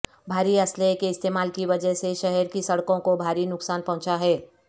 بھاری اسلحے کے استعمال کی وجہ سے شہر کی سڑکوں کو بھاری نقصان پہنچا ہے